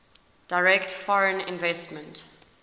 direct foreign investment